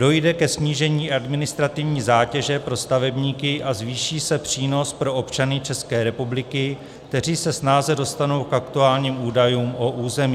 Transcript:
Dojde ke snížení administrativní zátěže pro stavebníky a zvýší se přínos pro občany České republiky, kteří se snáze dostanou k aktuálním údajům o území.